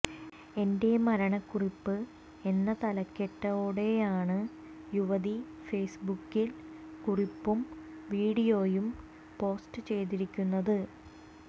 എന്റെ മരണ കുറിപ്പ് എന്ന തലക്കെട്ടോടെയാണ് യുവതി ഫേസ്ബുക്കിൽ കുറിപ്പും വീഡിയോയും പോസ്റ്റു ചെയ്തിരിക്കുന്നത്